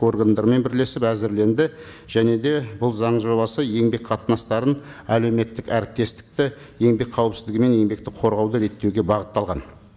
органдармен бірлесіп әзірленді және де бұл заң жобасы еңбек қатынастарын әлеуметтік әріптестікті еңбек қауіпсіздігі мен еңбекті қорғауды реттеуге бағытталған